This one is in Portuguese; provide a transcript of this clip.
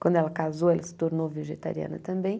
Quando ela casou, ela se tornou vegetariana também.